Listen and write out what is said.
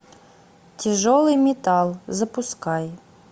тяжелый металл запускай